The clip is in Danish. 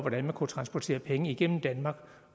at man kunne transportere penge igennem danmark